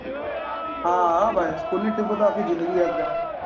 હા હા ભાઈ school trip હોય તો આખિ જીંદગી યાદ રેહે